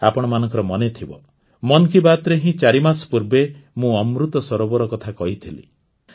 ଆପଣମାନଙ୍କର ମନେଥିବ ମନ୍ କି ବାତ୍ରେ ହିଁ ଚାରିମାସ ପୂର୍ବେ ମୁଁ ଅମୃତ ସରୋବର କଥା କହିଥିଲି